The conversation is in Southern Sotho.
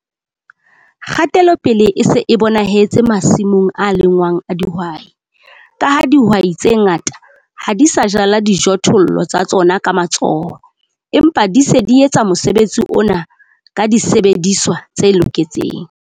Kgatelopele e se e bonahetse masimong a lengwang a dihwai, ka ha dihwai tse ngata ha di sa jala dijothollo tsa tsona ka matsoho empa di se di etsa mosebetsi ona ka disebediswa tse loketseng.